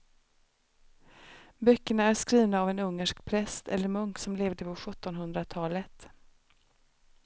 Böckerna är skrivna av en ungersk präst eller munk som levde på sjuttonhundratalet.